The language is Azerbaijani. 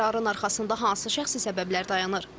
Bu qərarın arxasında hansı şəxsi səbəblər dayanır?